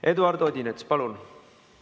Eduard Odinets, palun!